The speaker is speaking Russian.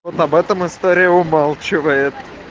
вот об этом история умалчивает